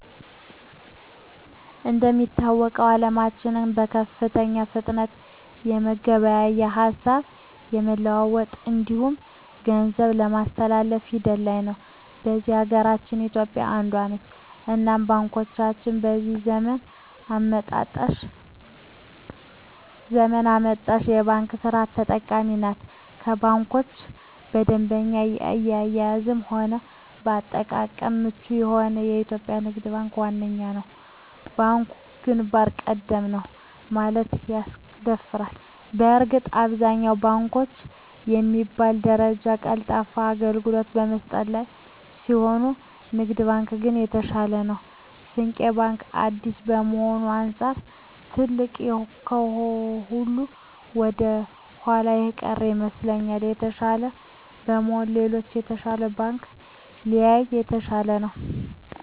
እንደሚታወቀዉ አለማችን በከፍተኛ ፍጥነት የመገበያየት፣ ሀሳብ የመለዋወጥ እንዲሁም ገንዘብ የማስተላፍ ሂደት ላይ ነዉ። በዚህ ሀገራችን ኢትዮጵያ አንዷ ነት እናም ባንኮቻችንም የዚህ ዘመን አመጣሽ የባንክ ስርት ተጠቃሚ ናት ከባንኮች በደንበኛ አያያዝም ሆነ ለአጠቃቀም ምቹ የሆነዉ የኢትዮጵያ ንግድ ባንክ ዋነኛዉ ነዉ። ባንኩ ግንባር ቀደም ነዉ ለማለትም ያስደፍራል በእርግጥ አብዛኛወቹ ባንኮች በሚባል ደረጃ ቀልጣፋ አገልግሎት በመስጠት ላይ ቢሆኑም ንግድ ባንክ ግን የተሻለ ነዉ። ስንቄ ባንክ አዲስ ከመሆኑ አንፃር ትንሽ ከሁሉ ወደኋላ የቀረ ይመስላል። የተሻለ ለመሆን ሌሎች የተሻሉ ባንኮችን ቢያይ የተሻለ ነዉ።